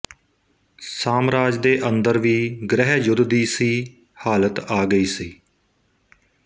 ਸਾਮਰਾਜ ਦੇ ਅੰਦਰ ਵੀ ਗ੍ਰਹਿ ਯੁੱਧ ਦੀ ਸੀ ਹਾਲਤ ਆ ਗਈ ਸੀ